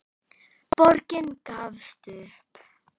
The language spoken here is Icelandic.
Borgin gafst upp.